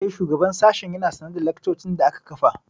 Eh, shugaban sashen ya na sane da laccocin da aka kafa